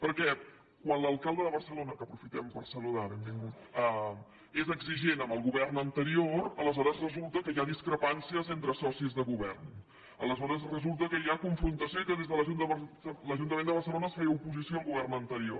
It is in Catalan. perquè quan l’alcalde de barcelona que aprofitem per saludar benvingut és exigent amb el govern anterior aleshores resulta que hi ha discrepàncies entre socis de govern aleshores resulta que hi ha confrontació i que des de l’ajuntament de barcelona es feia oposició al govern anterior